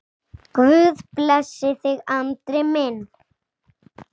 Guð blessi þig, Andri minn.